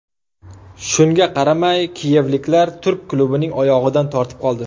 Shunga qaramay kiyevliklar turk klubining oyog‘idan tortib qoldi.